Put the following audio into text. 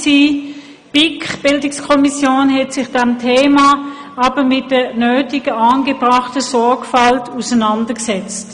Die BiK hat sich mit diesem Thema aber mit der nötigen angebrachten Sorgfalt auseinandergesetzt.